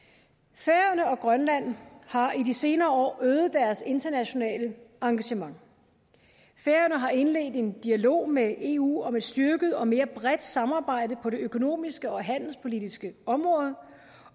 færøerne og grønland har i de senere år øget deres internationale engagement færøerne har indledt en dialog med eu om et styrket og mere bredt samarbejde på det økonomiske og handelspolitiske område